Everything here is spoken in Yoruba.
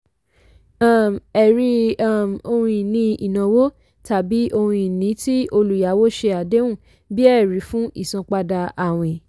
um ẹ̀rí um - ohun-ìní ìnáwó tàbí ohun-ìní tí olùyàwó ṣe àdéhùn bí ẹ̀rí fún ìsanpadà àwín